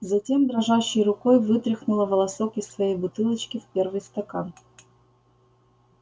затем дрожащей рукой вытряхнула волосок из своей бутылочки в первый стакан